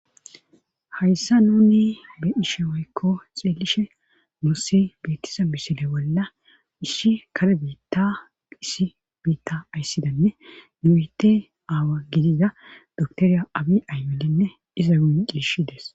hayssa nuni beishe woykko xeelishe nussi bettisa bisile bolla isshi kare biitta isi biitta ayssidanne nuite aawa gidiza doktoriya abi aymelenne iza gunlishshides